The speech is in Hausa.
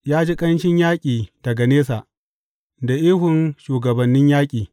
Ya ji ƙanshin yaƙi daga nesa, da ihun shugabannin yaƙi.